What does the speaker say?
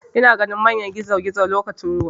Ina ganin manyan gizogizo lokacin ruwa.